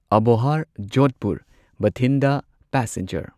Abohar Jodhpur Bathinda passenger